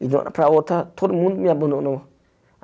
e de uma hora para outra todo mundo me abandonou.